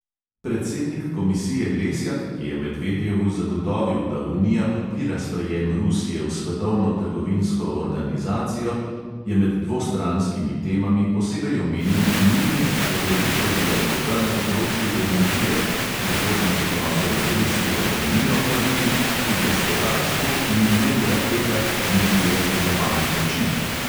Predsednik komisije lesjak, ki je medvedjevu zagotovil, da unija podpira sprejem rusije v svetovno trgovinsko organizacijo, je med dvostranskimi temami posebej omenil nujnost poglobitve dialoga na področju energije, prihodnost odnosov med rusijo in unijo pa vidi "v gospodarstvu in ne v raketah niti v razkazovanju moči".